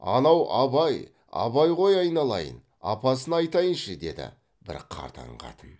анау абай абай ғой айналайын ай апасына айтайыншы деді бір қартаң қатын